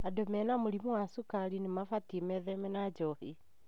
Andũ mena mũrimũ wa cukari nĩmabatie metheme na njohi.